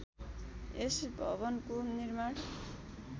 यस भवनको निर्माण